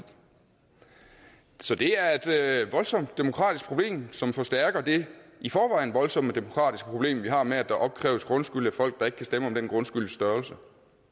så det er et voldsomt demokratisk problem som forstærker det i forvejen voldsomme demokratiske problem vi har med at der opkræves grundskyld af folk der ikke kan stemme om den grundskylds størrelse